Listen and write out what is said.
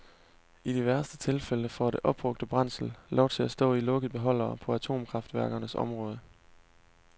I de værste tilfælde får det opbrugte brændsel lov til at stå i lukkede beholdere på atomkraftværkernes område.